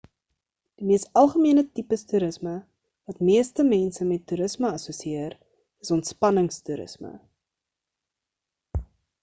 die mees algemene tipes toerisme wat meeste mense met toerisme assosieër is ontspannings toerisme